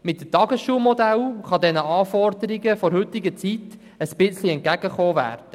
Mit dem Tagesschulmodell kann man den Anforderungen der heutigen Zeit ein wenig entgegengekommen.